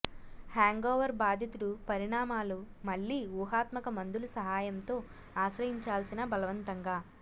hangover బాధితుడు పరిణామాలు మళ్ళీ ఊహాత్మక మందులు సహాయంతో ఆశ్రయించాల్సిన బలవంతంగా